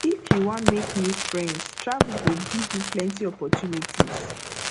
if you wan make new friends travel go give you plenty opportunities